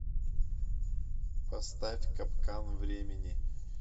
поставь капкан времени